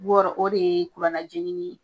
Bɔɔrɔ o de ye kurannajeninin ye.